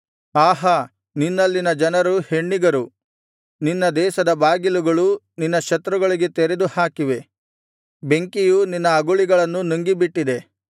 ಆಹಾ ನಿನ್ನಲ್ಲಿನ ಜನರು ಹೆಣ್ಣಿಗರು ನಿನ್ನ ದೇಶದ ಬಾಗಿಲುಗಳು ನಿನ್ನ ಶತ್ರುಗಳಿಗೆ ತೆರೆದು ಹಾಕಿವೆ ಬೆಂಕಿಯು ನಿನ್ನ ಅಗುಳಿಗಳನ್ನು ನುಂಗಿಬಿಟ್ಟಿದೆ